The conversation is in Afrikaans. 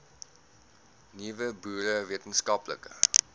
nuwe boere wetenskaplike